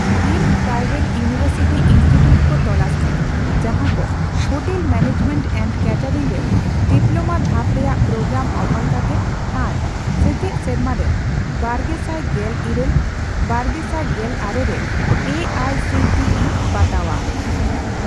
Deemed private university institute ᱠᱚ ᱛᱚᱞᱟᱥ ᱢᱮ ᱡᱟᱦᱟᱠᱚ ᱦᱳᱴᱮᱞ ᱢᱮᱱᱮᱡᱢᱮᱱᱴ ᱮᱱᱰ ᱠᱮᱴᱮᱨᱤᱝ ᱨᱮ ᱰᱤᱯᱞᱳᱢᱟ ᱫᱷᱟᱯ ᱨᱮᱱᱟᱜ ᱯᱨᱳᱜᱨᱟᱢ ᱚᱯᱷᱟᱨ ᱠᱟᱛᱮ ᱟᱨ ᱥᱮᱪᱮᱫ ᱥᱮᱨᱢᱟᱨᱮ ᱵᱟᱨᱜᱮᱥᱟᱭ ᱜᱮᱞᱤᱨᱟᱹᱞ ᱼᱵᱟᱨᱜᱮᱥᱟᱭ ᱜᱮᱞ ᱟᱨᱮ ᱨᱮ A I C T E ᱵᱟᱛᱟᱣᱟᱜ ᱾